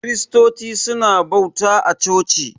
Kiristoci suna bauta a coci.